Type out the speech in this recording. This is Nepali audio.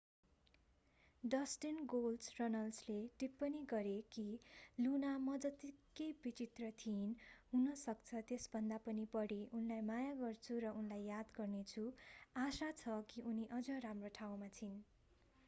डस्टिन गोल्डस्ट” रनल्सले टिप्पणी गरे कि लुना मजत्तिकै विचित्र थिइन्...हुनसक्छ त्यसभन्दा पनि बढी...उनलाई माया गर्छु र उनलाई याद गर्नेछु...आशा छ कि उनी अझ राम्रो ठाउँमा छिन्।